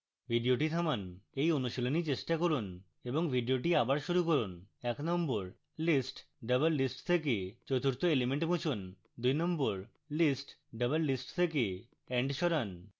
video থামান এই অনুশীলন চেষ্টা করুন এবং video আবার শুরু করুন